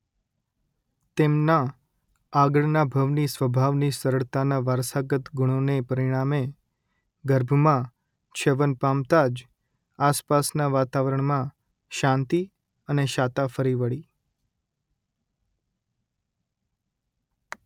તેમના આગળના ભવની સ્વભાવની સરળતાના વારસાગત ગુણોને પરિણામે ગર્ભમાં છ્યવન પામતાં જ આસપાસના વાતાવરણમાં શાંતિ અને શાતા ફરી વળી